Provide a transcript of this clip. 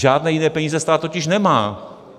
Žádné jiné peníze stát totiž nemá.